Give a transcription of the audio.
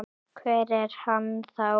Hver er hann þá?